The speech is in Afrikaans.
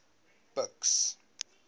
buks